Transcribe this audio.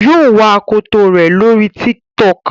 yíò wá akọtọ rẹ lórí TikTok